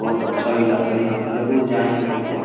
बहुत अच्छा इलाका है यहाँ पे जरुर जाएंगे एकबार।